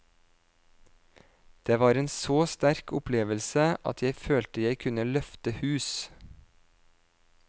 Det var en så sterk opplevelse at jeg følte jeg kunne løfte hus.